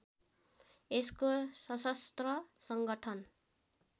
यसको सशस्त्र सङ्गठन